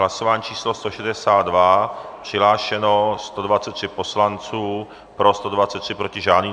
Hlasování číslo 162, přihlášeno 123 poslanců, pro 123, proti žádný.